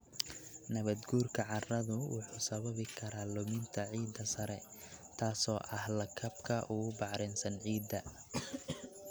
Nabaadguurka carradu wuxuu sababi karaa luminta ciidda sare, taasoo ah lakabka ugu bacrinsan ciidda.